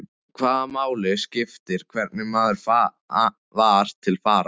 Hvaða máli skipti hvernig maður var til fara?